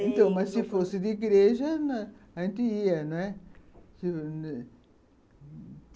Então, mas se fosse de igreja, a gente ia, né?